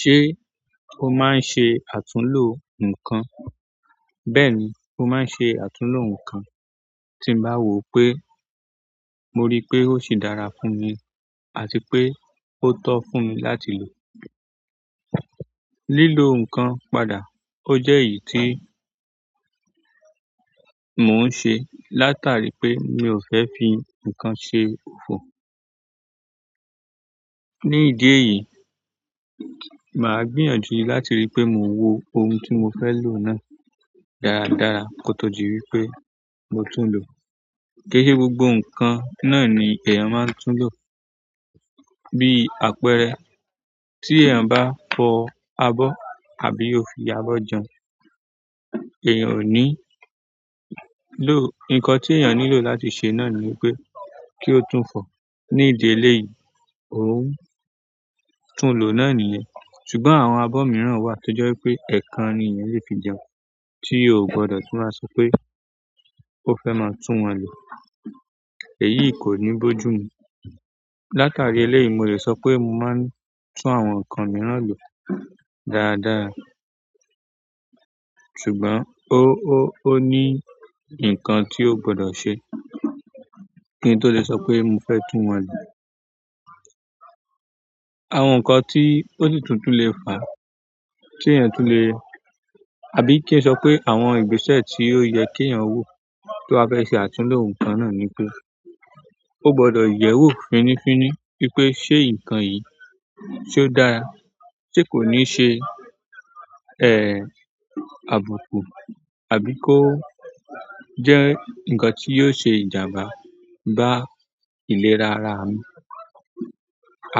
Ṣé ó máa ń ṣe àtúnlò nǹkan? Bẹ́ẹ̀ni, mo maa ń ṣe àtúnlo nǹkan tí ń bá wò pé mo rí pé ó sì dára fún mi àti pé ó tọ́ fún mi láti lò. Lílo nǹkan padà, ó jẹ́ èyí tí mò ń ṣe látàrí pé mi ò fẹ́ fi ǹkan ṣe òfò. Ni ìdí èyí, màá gbìyànjú láti rí pé mo wo ohun tí mo fẹ́ lò náà dáadáa kó tó di wípé mo tún lò. Gẹ́gẹ́ gbogbo ǹkan náà ni èèyàn máa ń tún lò. Bí àpẹẹrẹ, tí èèyàn bá fọ abọ́ àbí o fi abọ́ jẹun, èèyàn ò ní lò nkan tí èèyàn nílò láti ṣe náà ni wípé kí ó tún fọ̀. Ni ìdí eléyìí, òun tún lò náà nìyẹn. Ṣùgbọ́n àwọn abọ́ mìíràn wà tó jẹ́ wípé ẹẹkan ni èèyàn lè fi jẹun tí yóò gbọdọ̀ tún wá sọ pé ó fẹ́ máa tún wọn lò. Èyí ko ni boju mu. Látàrí eléyìí, mo lè sọ pé mo máa ń tún àwọn ǹkan mìíràn lò dáadáa. Ṣùgbọ́n ó, ó ní ǹkan tí ó gbọdọ̀ ṣe kí n tó lè sọ pé mo fẹ́ tún wọ́n lò. Àwọn ǹkan tí ósi tun lè fa, tí èèyàn tún lè àbí kí n sọ pé àwọn ìgbésẹ̀ tí ò yẹ kí èèyàn wo tó bá fẹ́ ṣe àtúnlò ǹkan náà ni pé ó gbọdọ̀ yẹ̀wò finífíní wípé ṣe ǹkan yìí ṣe ó dára, ṣe kò ní ṣe, àbùkù àbí kó jẹ́ ǹkan tí yio ṣe ìjàmbá bá ìlera ara mi.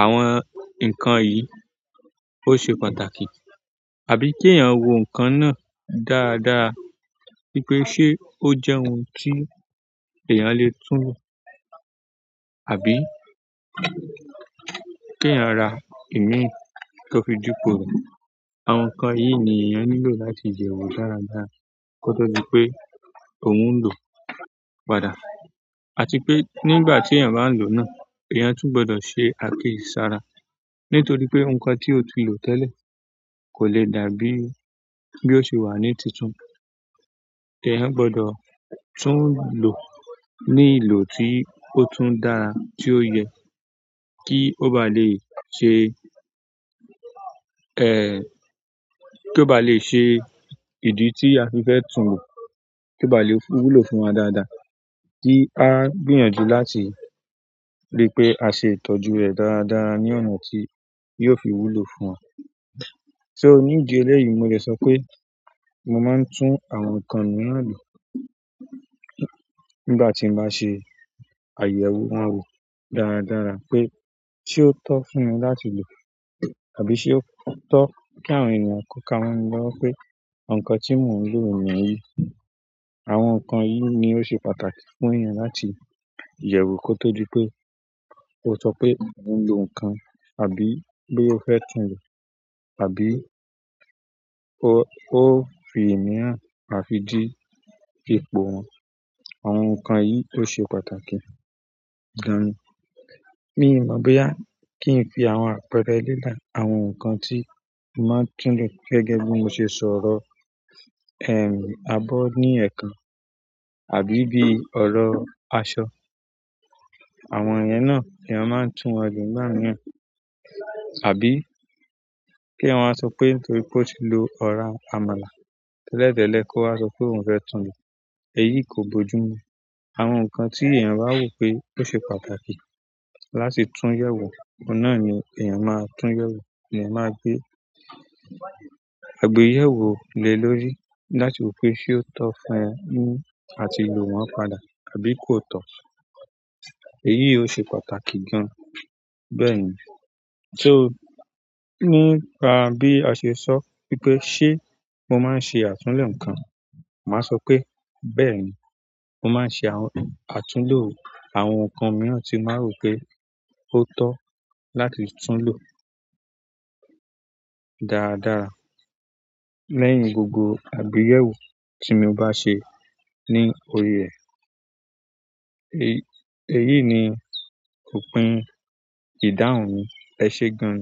Àwọn ǹkan yìí ó ṣe pàtàkì. Àbí kí èèyàn wo ǹkan náà dáadáa wípé ṣé ó jẹ́ ohun tí èèyàn lè tún lò. Àbí kí èèyàn ra ìmí tí ó fi dipo rẹ̀. Àwọn ǹkan yìí ni èèyàn nílò láti yẹ̀wọ̀ dáadáa kó tó di pé òun ń lò padà. Àti pe nígbà ti eyan baa n lo náà eyan tun gbọdọ ṣe akiye sara nitoripe inkan ti o ti lo tele kole dàbí bi o ṣe wa ni tuntun. Èèyàn gbọdọ̀ tún lò ní ìlò tí ó tún dára tí ó yẹ kí ó bá lè ṣe, ẹ́, kí ó bá lè ṣe ìdí tí a fi fẹ́ tún lò, kí ó bá lè wúlò fún wa dáadáa ki á gbìyànjú láti rí pé a ṣe ìtọ́jú rẹ̀ dáadáa ní ọ̀nà tí yio fi wúlò fún wa. So ní ìdí eléyìí, mo le sọ pé mo máa ń tún àwọn ǹkan mìíràn lò nígbà tí n bá ṣe àyẹ̀wò wọ́n wò dáadáa pé ṣé ó tọ́ fún mi láti lò àbí ṣé ó tọ́ kí àwọn èèyàn kó ka mọ́ mi lọ́wọ́ pé ǹkan tí mò ń lò ni yìí. Àwọn ǹkan yìí ni ó ṣe pàtàkì fún èèyàn láti yẹ̀wò kó tó di pé ó sọ pé òun ń lò ǹkan àbí boya o fẹ tún lò àbí ó, ó fi ìmíràn di ipò wọ́n. Àwọn ǹkan yìí ló ṣe pàtàkì gan. Mi ò mọ̀ bóyá kí n fi àwọn àpẹẹrẹ lelẹ àwọn ǹkan tí mo màá ń tún lò gẹ́gẹ́ bí mo ṣe ṣọ́rọ ẹ́, abọ́ ní ẹ̀kan àbí bí ọ̀rọ̀ àṣọ. Àwọn yẹn náà eyan máa ń tún wọ́n lò nígbà mìíràn. Àbí kí eyan wa sọ pé nítorí pé ó ti lo ọ̀rá àmàlà tẹ́lẹ̀tẹ́lẹ̀ kó wá sọ pé òun fẹ́ tún lò. Èyí kò gbójú mi. Àwọn ǹkan tí èèyàn bá wò pé ó ṣe pàtàkì láti tún yẹ̀wò, ọ̀un náà ni èèyàn máa tún yẹ̀wò, èèyàn máa gbé àgbéyẹ̀wò le lórí láti wò pé ṣé ó tọ́ fún ẹ ni àti lò wọ́n padà àbí kò tọ́. Èyí ò ṣe pàtàkì gan. Bẹ́ẹ̀ni. So nípa bí a ṣe sọ wípé ṣé mo máa ń ṣe àtúnlo ǹkan, màá sọ pé bẹ́ẹ̀ni, mo máa ń ṣe àtúnlò àwọn ǹkan mìíràn tí n ba rò pé ó tọ́ láti tún lò dáadáa lẹ́yìn gbogbo àgbéyẹ̀wò tí mo bá ṣe ní orí rẹ̀. Èyí ni òpin ìdáhùn mi. Ẹ ṣé gan.